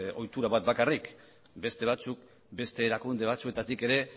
ohitura bat bakarrik beste batzuk beste erakunde batzuetatik ere